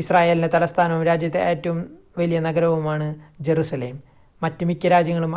ഇസ്രായേലിൻ്റെ തലസ്ഥാനവും രാജ്യത്തെ ഏറ്റവും വലിയ നഗരവുമാണ് ജറുസലേം മറ്റ് മിക്ക രാജ്യങ്ങളും